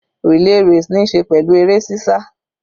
Relay race níí ṣe pẹ̀lú eré sísá.